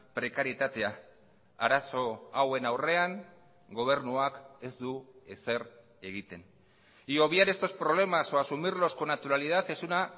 prekarietatea arazo hauen aurrean gobernuak ez du ezer egiten y obviar estos problemas o asumirlos con naturalidad es una